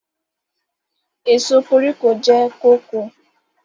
Èso koríko jẹ́ kóko.